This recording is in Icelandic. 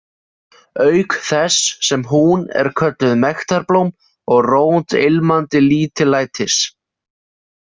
, auk þess sem hún er kölluð „mektarblóm“ og „rót ilmandi lítillætis“.